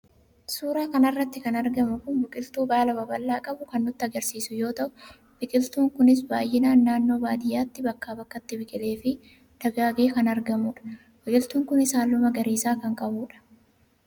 suuraa kana irratti kan argamu kun biqiltuu baala babal'aa qabu kan nutti agarsiisu yoo ta;u biqiltuun kunis baay'inaan naannoo baadiyyaatti bakkaa bakkatti biqileefi dagaagee kan argamudha. biqiltuun kunis halluu magariisa kan qabudha.